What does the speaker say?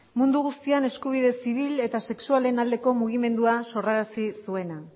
mundu guztian eskubide zibil eta sexualen aldeko mugimendua sorrarazi zuena